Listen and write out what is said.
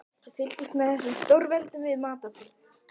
Við fylgjumst með þessum stórveldum við matarborðið.